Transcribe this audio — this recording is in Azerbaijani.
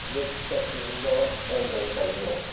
Yox, yeddi-səkkiz, uzağı 10 dəqiqəlik yoldur.